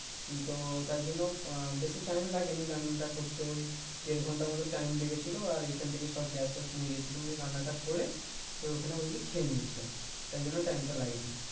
তো তাই জন্য আহ বেশি টাইম লাগেনি রান্নাটা করতে ওই দেড় ঘন্টার মতো টাইম লেগেছিলো আর এইখান থেকে সব গ্যাস ট্যাস নিয়ে গেছিলাম এমনি রান্না টা করে তোর ওখানে বুঝলি খেয়ে নিয়েছিলাম তাই জন্য টাইম টা লেগেনি